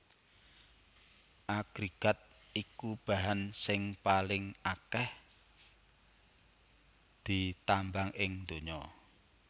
Agrégat iku bahan sing paling akèh ditambang ing donya